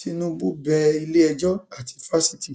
tinúbú bẹ iléẹjọ àti fásitì